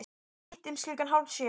Hittumst klukkan hálf sjö.